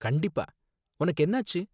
கண்டிப்பா, உனக்கு என்னாச்சு?